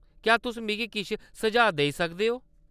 क्या तुस मिगी किश सुझाऽ देई सकदे ओ?